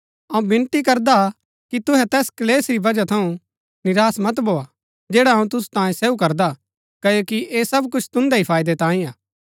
अऊँ विनती करदा कि तुहै तैस क्‍लेश री वजह थऊँ निराश मत भोआ जैडा अऊँ तुसु तांये सहू करदा क्ओकि ऐह सब कुछ तुन्दै ही फायदै तांये हा